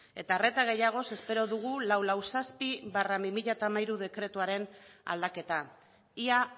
eta arreta gehiagoz espero dugu laurehun eta berrogeita zazpi barra bi mila hamairu dekretuaren aldaketa ia